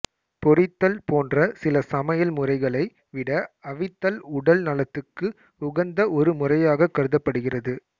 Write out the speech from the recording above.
பொரித்தல் போன்ற சில சமையல் முறைகளை விட அவித்தல் உடல் நலத்துக்கு உகந்த ஒரு முறையாகக் கருதப்படுகிறது